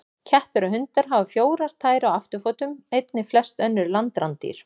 Kettir og hundar hafa fjórar tær á afturfótum, einnig flest önnur landrándýr.